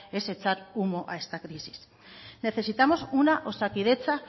es echar humo a esta crisis necesitamos una osakidetza